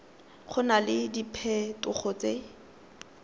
go na le diphetogo tse